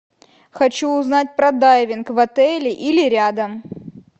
хочу узнать про дайвинг в отеле или рядом